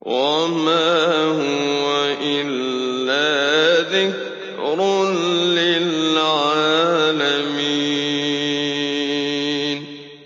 وَمَا هُوَ إِلَّا ذِكْرٌ لِّلْعَالَمِينَ